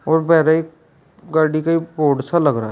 और गाड़ी का लग रहा है।